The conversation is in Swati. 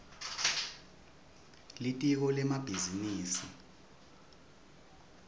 litiko lemabhizinisi